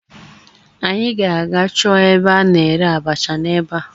Anyị ga-aga chọọ ebe a na-ere abacha n'ebea